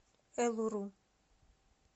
элуру